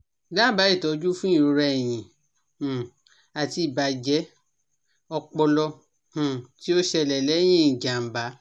Dábàá ìtọ́jú fún ìrora ẹ̀yìn um àti ìbàjẹ́ ọpọlọ um tí ó ṣẹlẹ̀ lẹ́yìn ìjàm̀bá